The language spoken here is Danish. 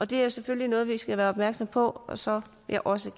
det er selvfølgelig noget vi skal være opmærksomme på og som jeg også